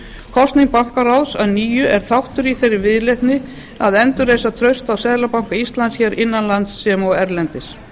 kosning bankaráðs að nýju er þáttur í þeirri viðleitni að endurreisa traust á seðlabanka íslands innan lands sem og erlendis